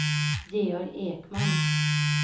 Georg Ekman